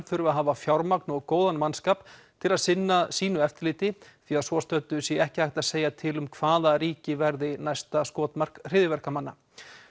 þurfi að hafa fjármagn og góðan mannskap til að sinna sínu eftirliti því að svo stöddu sé ekki hægt að segja til um hvaða ríki verði næsta skotmark hryðjuverkamanna